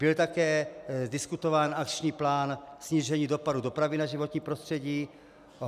Byl také diskutován akční plán snížení dopadu dopravy na životní prostředí.